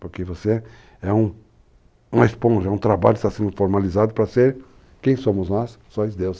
Porque você é um esponja, um trabalho que está sendo formalizado para ser quem somos nós, sóis deuses.